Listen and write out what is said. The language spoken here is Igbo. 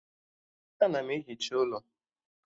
Ana m ehicha ụlọ